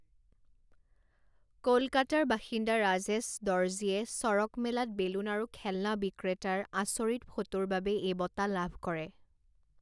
কলকাতাৰ বাসিন্দা ৰাজেশ দৰ্জীয়ে চড়কমেলাত বেলুন আৰু খেলনা বিক্ৰেতাৰ আচৰিত ফটোৰ বাবে এই বঁটা লাভ কৰে।